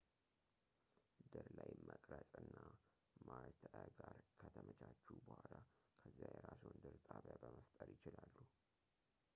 ድር ላይ መቅረፅ እና ማርተዕ ጋር ከተመቻቹ በኋላ ከዚያ የራስዎን ድር ጣቢያ መፍጠር ይችላሉ